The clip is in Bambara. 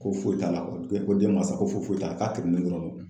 Ko foyi t'a la koni ko i ko den mansa ko foyi foyi t'a k'a kirinnen dɔrɔn kun